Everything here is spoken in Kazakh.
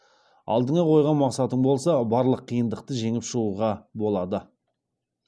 алдыңа қойған мақсатың болса барлық қиындықты жеңіп шығуға болады